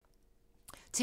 TV 2